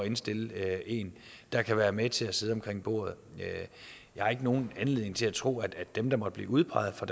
indstille en der kan være med til at sidde med omkring bordet jeg har ikke nogen anledning til at tro at dem der måtte blive udpeget fra